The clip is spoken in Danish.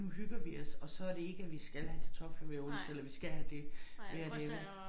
Nu hygger vi os og så det ikke at vi skal have kartofler hver onsdag eller vi skal have det hver dag vel